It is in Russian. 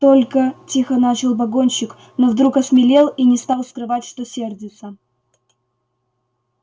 только тихо начал погонщик но вдруг осмелел и не стал скрывать что сердится